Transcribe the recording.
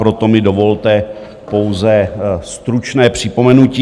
Proto mi dovolte pouze stručné připomenutí.